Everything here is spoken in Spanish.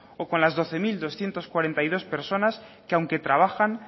o con las doce mil doscientos cuarenta y dos personas que aunque trabajan